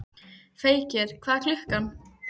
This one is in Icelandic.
Feykir, hvað er klukkan?